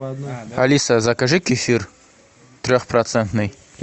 алиса закажи кефир трехпроцентный